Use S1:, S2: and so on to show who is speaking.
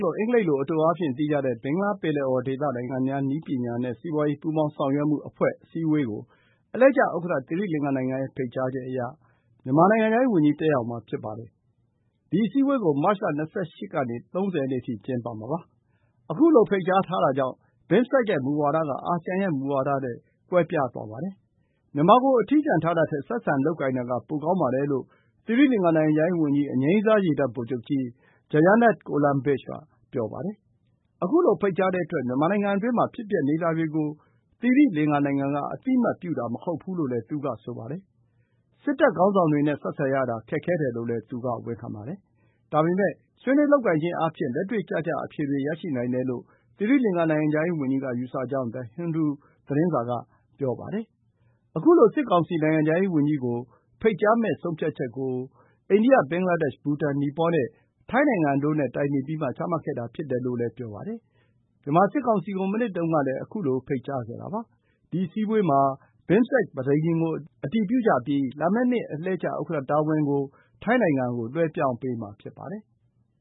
S1: လို့ အင်္ဂလိပ်လို အတိုအားဖြင့်သိကြတဲ့ ဘင်္ဂလားပင်လယ်အော်ဒေသ နိုင်ငံများ နည်းပညာနဲ့ စီးပွားရေး ပူးပေါင်းဆောင်ရွက်မှုအဖွဲ့ အစည်းအဝေးကို အလှည့်ကျဥက္ကဋ္ဌ သီရိလင်္ကာနိုင်ငံရဲ့ ဖိတ်ကြားချက်အရ မြန်မာနိုင်ငံခြားရေးဝန်ကြီး တက်ရောက်မှာ ဖြစ်ပါတယ်။ ဒီအစည်းအဝေးကို မတ်လ ၂၈ ကနေ ၃၀ ရက်နေ့အထိ ကျင်းပမှာ ဖြစ်ပါတယ်။ ခုလိုဖိတ်ကြားတာကြောင့် BIMSTEC ရဲ့ မူဝါဒက အာဆီယံရဲ့ မူဝါဒနဲ့ ကွဲပြားသွားပါတယ်။ မြန်မာကို အထီးကျန်ထားတာထက် ဆက်ဆံလုပ်ကိုင်တာက ပိုကောင်းပါတယ်လို့ သီရိလင်္ကာ နိုင်ငံခြားရေးဝန်ကြီး အငြိမ်းစားရေတပ်ဗိုလ်ချုပ်ကြီး Jayanath Colombage က ပြောပါတယ်။ ခုလိုဖိတ်ကြားတဲ့အတွက် မြန်မာနိုင်ငံအတွင်းမှာ ဖြစ်ပျက်နေတာတွေကို သီရိလင်္ကာနိုင်ငံက အသိအမှတ်ပြုတာ မဟုတ်ဘူးလို့လည်း သူက ဆိုပါတယ်။ စစ်တပ်ခေါင်းဆောင်တွေနဲ့ ဆက်ဆံရတာ ခက်ခဲတယ်လို့လည်း သူက ဝန်ခံပါတယ်။ ဒါပေမဲ့ ဆွေးနွေးလုပ်ကိုင်ခြင်းအားဖြင့် လက်တွေ့ကျကျ အဖြေတွေ ရရှိနိုင်တယ်လို့ သီရိလင်္ကာ နိုင်ငံခြားရေးဝန်ကြီးက ယူဆကြောင်း The Hindu သတင်းစာက ဆိုပါတယ်။ ခုလို စစ်ကောင်စီ နိုင်ငံခြားရေးဝန်ကြီးကို ဖိတ်ကြားမယ့် ဆုံးဖြတ်ချက်ကို အိန္ဒိယ၊ ဘင်္ဂလားဒေ့ရှ်၊ ဘူတန်၊ နီပေါ၊ ထိုင်းနိုင်ငံတို့နဲ့ တိုင်ပင်ပြီးမှ ချမှတ်ခဲ့တာဖြစ်တယ်လို့ ဆိုပါတယ်။ မြန်မာစစ်ကောင်စီကို မနှစ်တုန်းကလည်း ခုလို ဖိတ်ကြားခဲ့ပါတယ်။ ဒီအစည်းအဝေးမှာ BIMSTEC ပဋိညာဉ်ကို အတည်ပြုကြပြီး လာမယ့်နှစ် အလှည့်ကျဥက္ကဋ္ဌ တာဝန်ကို ထိုင်းနိုင်ငံကို လွှဲပြောင်းပေးမှာ ဖြစ်ပါတယ်။